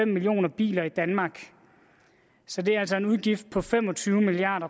millioner biler i danmark så det er altså en udgift på fem og tyve milliard